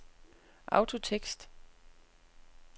autotekst